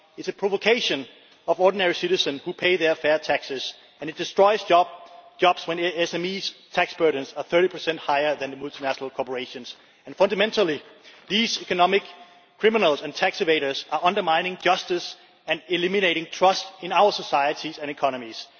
It is a provocation to ordinary citizens who pay their fair taxes and it destroys jobs when SME tax burdens are 30 higher than those of multinational corporations. And fundamentally, these economic criminals and tax evaders are undermining justice and eliminating trust in our societies and economies.